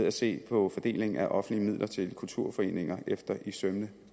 at se på fordelingen af offentlige midler til kulturforeninger efter i sømmene